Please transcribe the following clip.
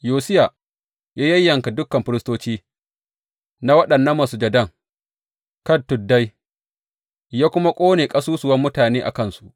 Yosiya ya yayyanka dukan firistoci na waɗannan masujadan kan tuddai, ya kuma ƙone ƙasusuwan mutane a kansu.